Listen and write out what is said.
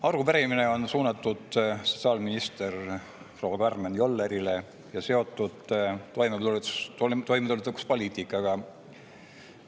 Arupärimine on suunatud sotsiaalminister proua Karmen Jollerile ja seotud toimetulekupoliitikaga.